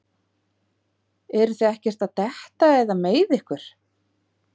Eruð þið ekkert að detta eða meiða ykkur?